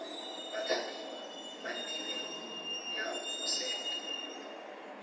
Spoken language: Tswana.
bathapiwa ba tirelo ya boset